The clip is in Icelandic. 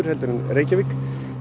heldur en Reykjavík